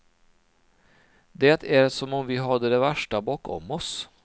Det är som om vi hade det värsta bakom oss.